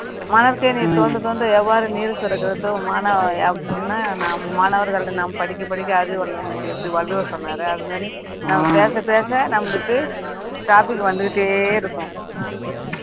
மணற்கேணியைத் தோண்டத் தோண்ட எவ்வாறு நீர் சுரக்குறது மா~ மாணவர்களிடம் நாம் படிக்க படிக்க அறிவு வேண்டி எப்படி வள்ளுவர் சொன்னாரே அது மாதிரி நாம பேச பேச நம்மளுக்கு topic வந்துக்கிட்டே இருக்கும்